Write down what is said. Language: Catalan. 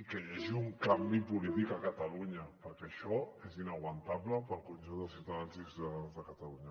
i que hi hagi un canvi polític a catalunya perquè això és inaguantable per al conjunt dels ciutadans i ciutadanes de catalunya